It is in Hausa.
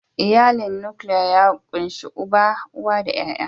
Iyali nukiliya ya kunshi uba, uwa da ƴaƴa.